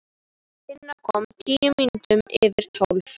Tinna kom tíu mínútur yfir tólf.